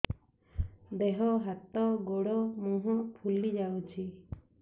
ଦେହ ହାତ ଗୋଡୋ ମୁହଁ ଫୁଲି ଯାଉଛି